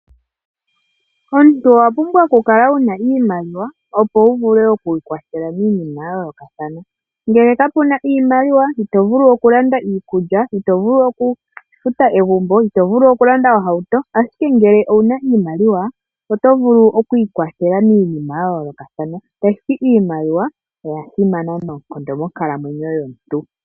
Omunti owapumbwa okukala wuna iimaliwa opo wuvule oku ikwathela miinima ya yoolokathana ,ashike ngele kapuna iimaliwa itovulu oku landa iikulya, itovulu oku futa egumbo, itovulu okulanda ohauto ,Ashike ngele owuna iimaliwa otovulu oku ikwathela miinima ya yoolokathana .Iimaliwa oya simana noonkondo monkalamwenyo yomuntu.